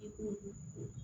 I ko